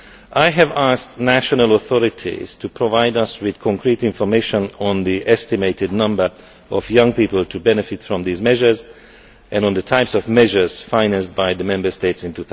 I have asked national authorities to provide us with concrete information on the estimated number of young people who benefit from these measures and on the types of measures financed by the Member States in